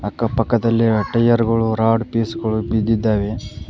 ಅಕ್ಕ ಪಕ್ಕದಲ್ಲಿ ಟೈರ್ ಗಳು ರಾಡ್ ಪೀಸ್ ಗಳು ಬಿದ್ದಿದ್ದಾವೆ.